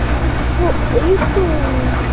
অ কো এইতো উম